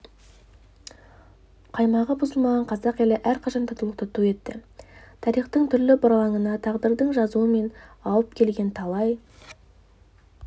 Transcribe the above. қаймағы бұзылмаған қазақ елі әрқашан татулықты ту етті тарихтың түрлі бұралаңында тағдырдың жазуымен ауып келген талай